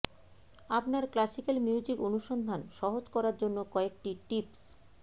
আপনার classical music অনুসন্ধান সহজ করার জন্য কয়েকটি টিপস